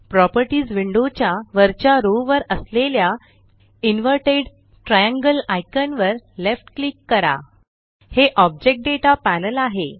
properties window च्या वरच्या row वर असलेल्या इनव्हर्टेड triangleआइकान वर लेफ्ट क्लिक करा हे ऑब्जेक्ट दाता पॅनल आहे